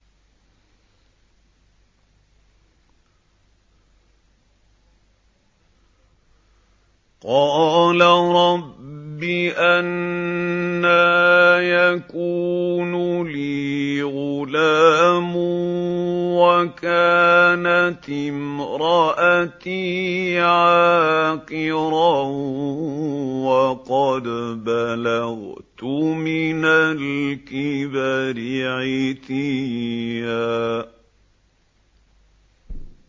قَالَ رَبِّ أَنَّىٰ يَكُونُ لِي غُلَامٌ وَكَانَتِ امْرَأَتِي عَاقِرًا وَقَدْ بَلَغْتُ مِنَ الْكِبَرِ عِتِيًّا